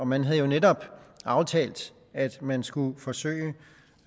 man havde jo netop aftalt at man skulle forsøge